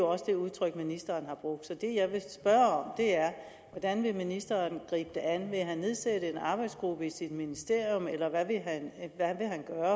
også det udtryk ministeren har brugt så det jeg vil spørge er hvordan vil ministeren gribe det an vil han nedsætte en arbejdsgruppe i sit ministerium eller hvad vil han at